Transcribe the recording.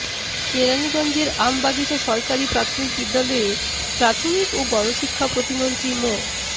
কেরানীগঞ্জের আমবাগিচা সরকারি প্রাথমিক বিদ্যালয়ে প্রাথমিক ও গণশিক্ষা প্রতিমন্ত্রী মো